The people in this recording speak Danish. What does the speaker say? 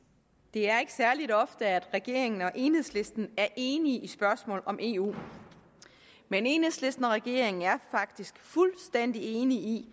er ikke særlig ofte at regeringen og enhedslisten er enige i spørgsmål om eu men enhedslisten og regeringen er faktisk fuldstændig enige i